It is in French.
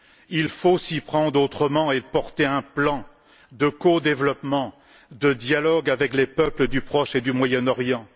Il faut s'y prendre autrement et porter un plan de codéveloppement, de dialogue avec les peuples du Proche et du Moyen Orient.